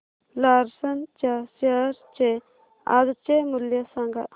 Larsen च्या share चे आजचे मूल्य सांगा